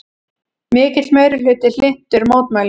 Mikill meirihluti hlynntur mótmælum